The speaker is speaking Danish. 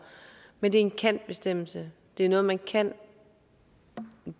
men det er en kan bestemmelse det er noget man kan